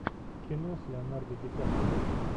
кино с леонардо ди каприо